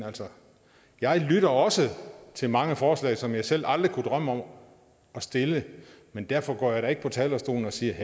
jeg lytter også til mange forslag som jeg selv aldrig kunne drømme om at stille men derfor går jeg da ikke på talerstolen og siger